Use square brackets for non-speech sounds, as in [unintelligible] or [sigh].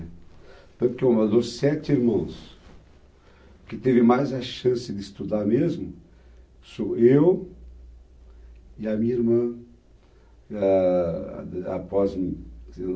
né? Tanto que uma das sete irmãs que teve mais a chance de estudar mesmo, sou eu e a minha irmã. Ah, ah [unintelligible]